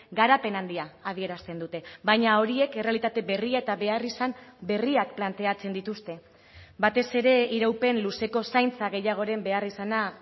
garapen handia adierazten dute baina horiek errealitate berria eta beharrizan berriak planteatzen dituzte batez ere iraupen luzeko zaintza gehiagoren beharrizana